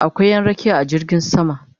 Akwai Ƴan rakiya a jirgin sama